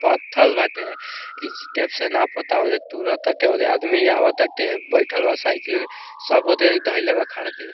पत्थल बाटे inch tape से नापताते तुरत ताते औदे आदमी आवता बइठल बा साइकिल सब औदे धइले बा खाड़ के।